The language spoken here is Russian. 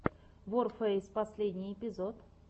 ворфэйс последний эпизод